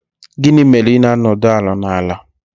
Gịnị mere ị na-anọdụ ala n'ala?